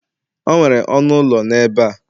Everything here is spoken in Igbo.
o nwere ọnụ ụlọ n'ebe a